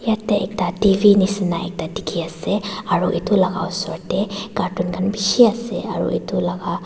At ekta tv neshna ekta dekhe ase aro etu laka usor tey cartoon khan beshe ase aro etu laka.